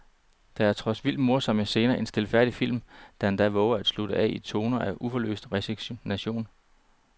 Der er trods vildt morsomme scener en stilfærdig film, der endda vover at slutte af i en tone af uforløst resignation.